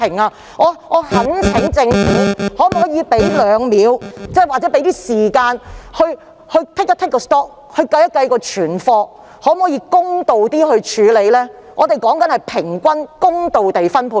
我懇請政府花2秒或一些時間盤點保護裝備的庫存量，然後公道地處理，我所指的是平均公道的分配。